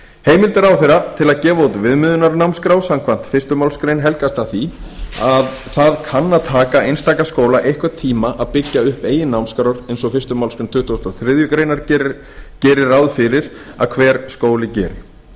heimild ráðherra til að gefa út viðmiðunarnámskrá samkvæmt fyrstu málsgrein helgast af því að það kann að taka einstaka skóla einhvern tíma að byggja upp eigin námskrár eins og fyrstu málsgrein tuttugustu og þriðju grein gerir ráð fyrir að hver skóli geri